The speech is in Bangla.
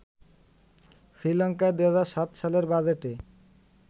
শ্রীলঙ্কায় ২০০৭ সালের বাজেটে